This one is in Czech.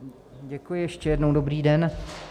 Děkuji ještě jednou, dobrý den.